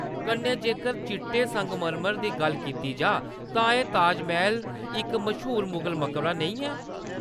कन्नै जेकर, चिट्टे संगमरमर दी गल्ल कीती जाऽ तां क्या ताजमैह्‌‌ल इक मश्हूर मुगल मकबरा नेईं ऐ?